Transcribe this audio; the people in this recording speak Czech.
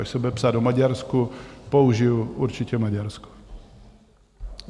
Až se bude psát o Maďarsku, použiji určitě Maďarsko.